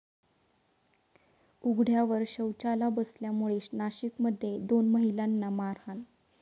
उघड्यावर शौचाला बसल्यामुळे नाशिकमध्ये दोन महिलांना मारहाण